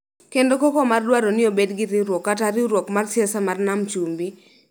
kendo koko mar dwaro ni obed gi riwruok kata riwruok mar siasa mar Nam Chumbi,